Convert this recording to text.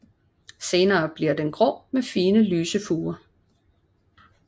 Senere bliver den grå med fine lyse furer